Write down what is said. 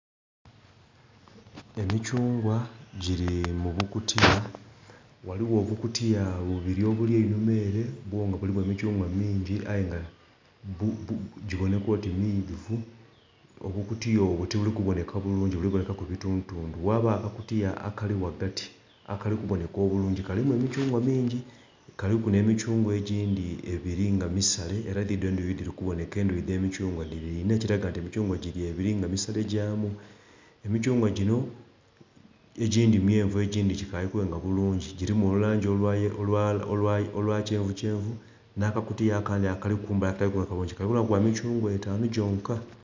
Emithungwa giri mu bukutiya ghaligho obukutiya bubiri obuli einhuma ere byo nga bulimu emithungwa mungi aye nga gibonheka oti midhuvu, obukutiya obwo tibuli kubonheka bulungi buli bonhekaku bitundhu tundhu. Ghabagho akakutiya akali ghagati akali kubonheka obulungi kalimu emithungwa mingi kili nhe mithungwa egindhi ebiri nga misale era dhidhino endhuki dhiri kubonheka endhuki dhe mithungwa dhiri inna ekiraga nti emithungwa giri ebiri nga misale gyaamu. Emithungwa ginho egindhi mwenhu egindhi gikaali kwenga bulungi girimu olulangi olwa kyenvu kyenvu nha kakutiya akandhi akali kumbali akatali kubonheka bulungi Kali bonhekaku bwa mithungwa etanu gyonha.